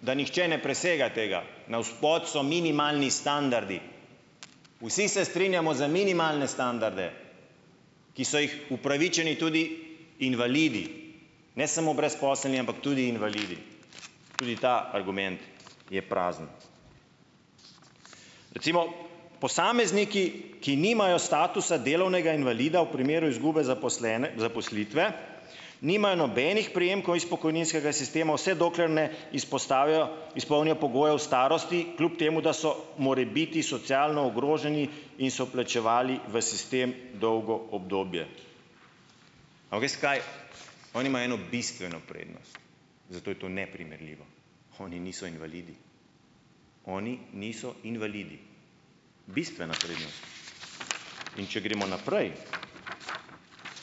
da nihče ne presega tega, na od spodaj so minimalni standardi, vsi se strinjamo za minimalne standarde, ki so jih upravičeni tudi invalidi, ne samo brezposelni, ampak tudi invalidi, tudi ta argument je prazen, recimo posamezniki, ki nimajo statusa delovnega invalida v primeru izgube zaposlitve nimajo nobenih prejemkov iz pokojninskega sistema, vse dokler ne izpostavijo izpolnijo pogoje v starosti, kljub temu da so morebiti socialno ogroženi in so plačevali v sistem dolgo obdobje. A ves kaj, oni imajo eno bistveno prednost, zato je to neprimerljivo, oni niso invalidi, oni niso invalidi, bistvena prednost, in če gremo naprej,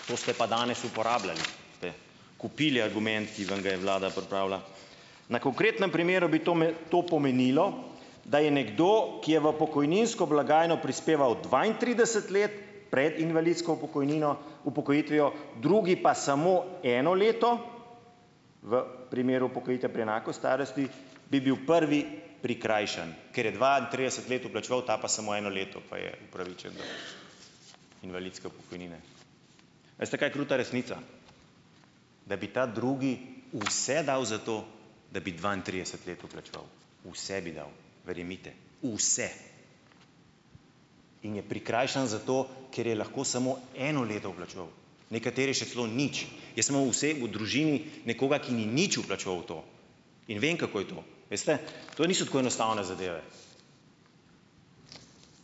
to ste pa danes uporabljali ste kupili argument, ki vam ga je vlada pripravila, na konkretnem primeru bi to to pomenilo, da je nekdo, ki je v pokojninsko blagajno prispeval dvaintrideset let pred invalidsko upokojnino upokojitvijo, drugi pa samo eno leto, v primeru upokojitve pri enaki starosti bi bil prvi prikrajšan ker je dvaintrideset vplačeval, ta pa samo eno leto, pa je invalidske pokojnine. A veste kaj kruta resnica, da bi ta drugi vse dal za to, da bi dvaintrideset let vplačeval, vse bi dal, verjemite, vse, in je prikrajšan za to, ker je lahko samo eno leto vplačeval, nekateri še celo nič, nekoga, ki ni nič vplačeval v to, in vem, kako je to, veste, to niso tako enostavne zadeve,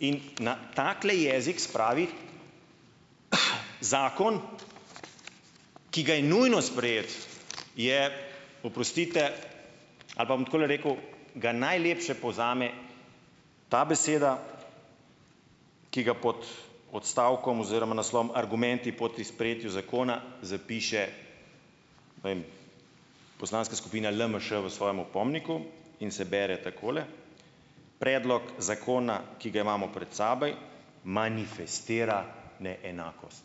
in na takole jezik spravi zakon, ki ga je nujno sprejeti, je, oprostite, ali pa bom takole rekel, ga najlepše povzame ta beseda, ki pa pod odstavkom oziroma naslovom argumenti proti sprejetju zakon zapiše, ne vem. Poslanska skupina LMŠ v svojem opomniku in se bere takole: predlog zakona, ki ga imamo pred seboj, manifestira neenakost,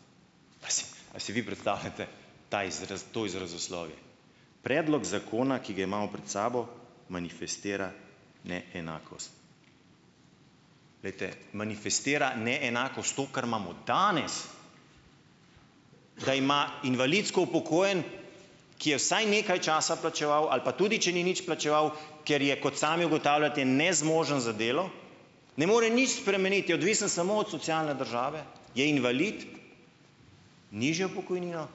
a si vi predstavljate, ta to izrazoslovje, predlog zakona, ki ga imamo pred sabo, manifestira neenakost, glejte, manifestira neenakost, to, kar imamo danes, da ima invalidsko upokojeni, ki je vsaj nekaj časa plačeval ali pa tudi če ni nič plačeval, ker je, kot sami ugotavljate, nezmožen za delo, ne more nič spremeniti, odvisen samo od socialne države, je invalid nižjo pokojnino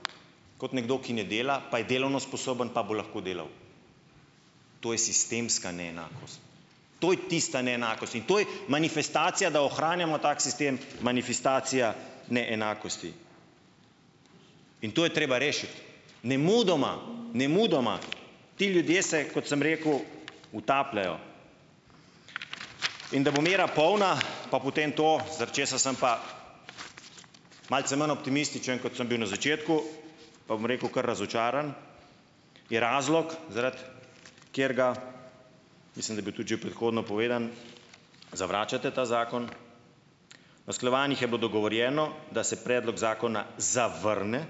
kot nekdo, ki ne dela, pa je delovno sposoben, pa bo lahko delal, to je sistemska neenakost, to je tista neenakost in to je manifestacija, da ohranjamo tak sistem, manifestacija neenakosti in to je treba rešiti nemudoma, nemudoma, ti ljudje se, kot sem rekel, utapljajo, in da bo mera polna, pa potem to, zaradi česa sem pa malce manj optimističen, kot sem bil na začetku, pa bom rekel kar razočaran, je razlog, zaradi katerega mislim, da je bil tudi že predhodno povedan, zavračate ta zakon usklajevanjih je bilo dogovorjeno, da se predlog zakona zavrne,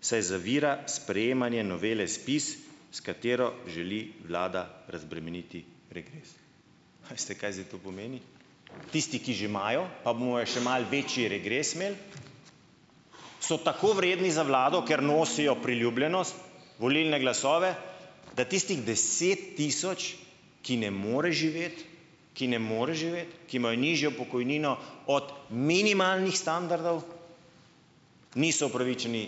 saj zavira sprejemanje novele ZPIS, s katero želi vlada razbremeniti regres, a veste, kaj zdaj to pomeni, tisti, ki že imajo, pa bomo e še malo večji regres imeli, so tako vredni za vlado, ker nosijo priljubljenost, volilne glasove, da tistih deset tisoč, ki ne more živeti, ki ne more živeti, ki imajo nižjo pokojnino od minimalnih standardov, niso upravičeni,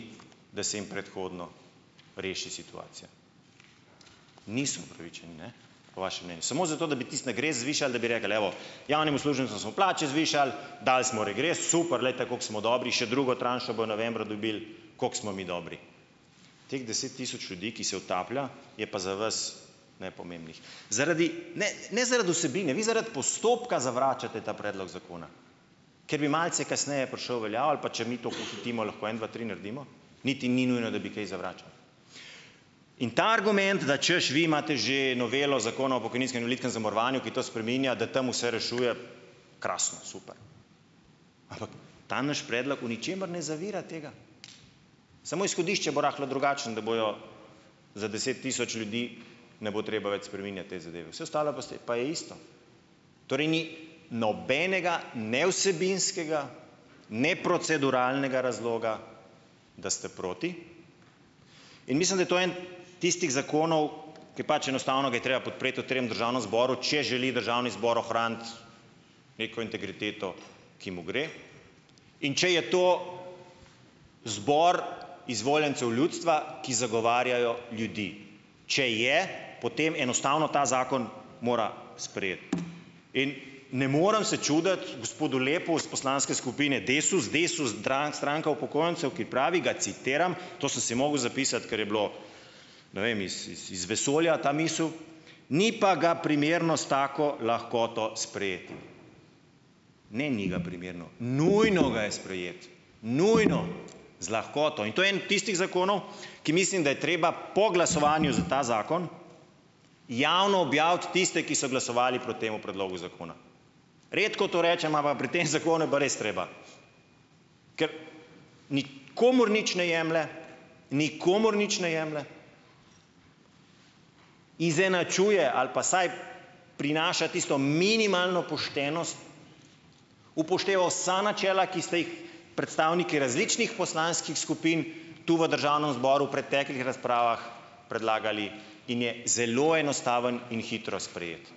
da se jim predhodno reši situacija, niso upravičeni, ne, po vašem mnenju samo zato bi tisti regres zvišali, da bi rekli, evo, javnim uslužbencem smo plače zvišali, dali smo regres, super, glejte, kako smo dobri, še drugo tranšo bojo novembra dobili, koliko smo mi dobri, teh deset tisoč ljudi, ki se utaplja, je pa za vas nepomembnih zaradi ne ne zaradi vsebine, vi zaradi postopka zavračate ta predlog zakona, ker bi malce kasneje prišel v veljavo, ali pa če mi to pohitimo, lahko to en dva tri naredimo, niti ni nujno, da bi kaj zavračali, in ta argument, da čas vi imate že novelo zakona o pokojninskem invalidskem zavarovanju, ki to spreminja, da tam vse rešuje, krasno super, ampak ta naš predlog v ničemer ne zavira tega, samo izhodišče bo rahlo drugačno, da bojo za deset tisoč ljudi ne bo treba več spreminjati te zadeve, saj ostalo boste pa je isto, torej ni nobenega ne vsebinskega ne proceduralnega razloga, da ste proti, in mislim, da je to eden tistih zakonov, ke pač enostavno ga je treba podpreti v trem državnem zboru, če želi državni zbor ohraniti neko integriteto, ki mu gre, in če je to zbor izvoljencev ljudstva, ki zagovarjajo ljudi, če je, potem enostavno ta zakon mora sprejeti in ne more se čuditi gospodu Lepu iz poslanske skupine Desus Desus stranka upokojencev, ki pravi, ga citiram, to sem si moral zapisati, ker je bilo ne vem iz iz iz vesolja ta misel, ni pa ga primerno s tako lahkoto sprejeti, ne, ni ga primerno, nujno ga je sprejeti, nujno, z lahkoto in to je en tistih zakonov, ki mislim, da je treba po glasovanju za ta zakon javno objaviti tiste, ki so glasovali proti temu predlogu zakona, redko to rečem, ampak pri tem zakonu je pa res treba, k ni komur nič ne jemlje, nikomur nič ne jemlje, izenačuje ali pa vsaj prinaša tisto minimalno poštenost, upošteva vsa načela, ki ste jih predstavniki različnih poslanskih skupin tu v državnem zboru preteklih razpravah predlagali, in je zelo enostavno in hitro sprejeti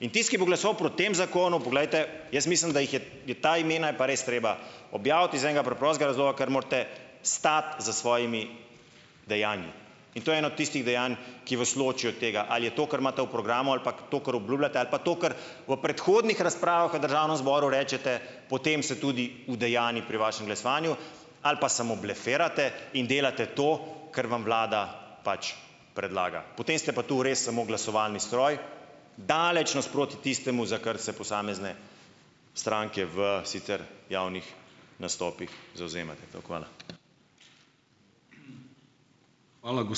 in tisti, ki bo glasoval proti tem zakonu, poglejte, jaz mislim, da jih je je ta imena je pa res treba objaviti iz enega preprostega razloga, ker morate stati za svojimi dejanji in to je eno od tistih dejanj, ki vas loči od tega, ali je to, kar imate v programu, ali pa to, kar obljubljate, ali pa to kar v predhodnih razpravah državnem zboru rečete, potem se tudi udejanji pri vašem glasovanju ali pa samo blefirate in delate to, kar vam vlada pač predlaga, potem ste pa to res samo glasovalni stroj, daleč nasproti tistemu, za kar se posamezne stranke v sicer javnih nastopih zavzemate toliko. Hvala, hvala